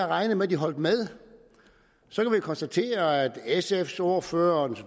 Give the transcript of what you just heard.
regnet med at de holdt med så kan man konstatere at sfs ordfører den